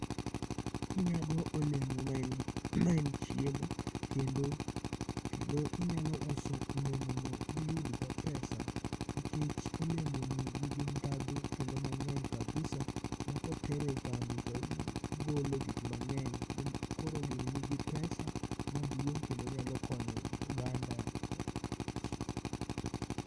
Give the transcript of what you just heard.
Onyago olemo ma en chiemo kendo kendo inyalo uso olemo no miyudgo pesa nikech olemo ni nigi dhadho kendo mang'eny kabisa ma ka otere e kambi to ogolo gik mang'eny. KorO gini nigi pesa maduong kendo onyalo konyo oganda.